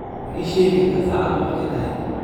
ma ii sheegi kartaa saacadu markay tahay